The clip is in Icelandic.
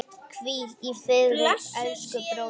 Hvíl í friði elsku bróðir.